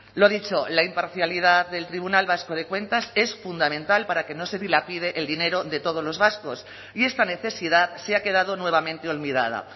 lo dicho la imparcialidad del tribunal vasco de cuentas es fundamental para que no se dilapide el dinero de todos los vascos y esta necesidad se ha quedado nuevamente olvidada